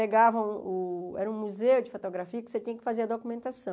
Pegavam o era um museu de fotografia que você tinha que fazer a documentação.